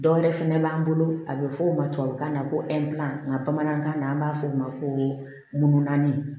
Dɔ wɛrɛ fɛnɛ b'an bolo a bɛ fɔ o ma tubabukan na ko nka bamanankan na an b'a fɔ o ma ko naani